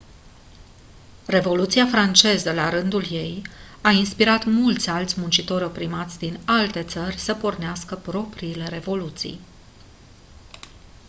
revoluția franceză la rândul ei a inspirat mulți alți muncitori oprimați din alte țări să pornească propriile revoluții